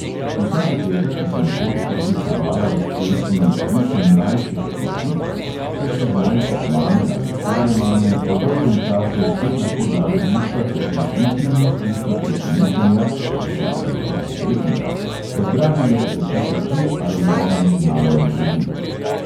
Vsa dekleta, ki so nekoč vzdihovala ob pesmi bil sem mlajši kakor ti, so si zdaj kot mame ali stare mame po dolgem času spet lahko dale duška ter z vzdihi in vzkliki presenečenja (predvidevamo prijetnega) pozdravile začetek te ali one znane melodije.